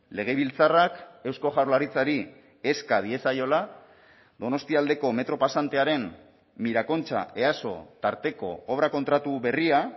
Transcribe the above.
legebiltzarrak eusko jaurlaritzari eska diezaiola donostialdeko metro pasantearen mirakontxa easo tarteko obra kontratu berria